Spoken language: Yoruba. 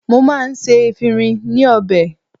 Mo máa ń ṣe efinrin ní ọbẹ̀.